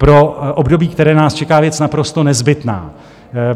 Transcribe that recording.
Pro období, které nás čeká, věc naprosto nezbytná.